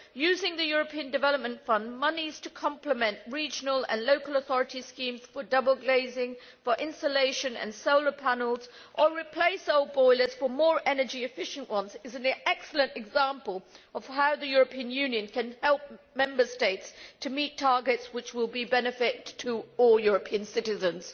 Using the European Development Fund monies to complement regional and local authorities' schemes for double glazing, insulation and solar panels or for replacing old boilers for more energy efficient ones is an excellent example of how the European Union can help Member States to meet targets which will be of benefit to all European citizens.